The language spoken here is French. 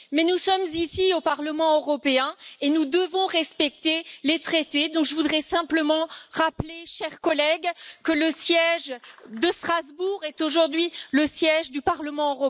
Mais nous sommes ici au Parlement européen et nous devons respecter les traités, donc je voudrais simplement rappeler, chers collègues, que le siège de Strasbourg est aujourd'hui le siège du Parlement européen et que nous devons avoir cela à l'esprit.